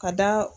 Ka da